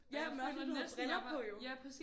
Ja men også fordi du har briller på jo